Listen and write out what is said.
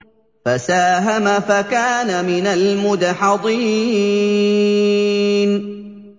فَسَاهَمَ فَكَانَ مِنَ الْمُدْحَضِينَ